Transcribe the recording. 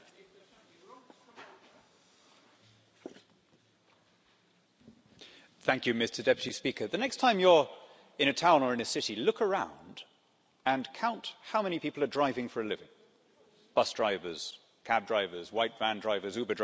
Mr President, the next time you're in a town or in a city, look around and count how many people are driving for a living bus drivers, cab drivers, white van drivers, Uber drivers.